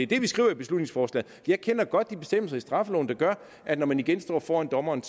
det vi skriver i beslutningsforslaget jeg kender godt de bestemmelser i straffeloven der gør at når man igen står foran dommeren